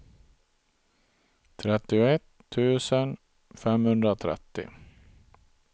trettioett tusen femhundratrettio